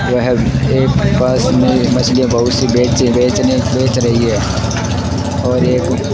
वह एक पास में मछली बहुत सी बेच बेचने बेच रही है और एक --